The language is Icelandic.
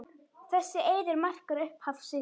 Þessi eiður markar upphaf Sviss.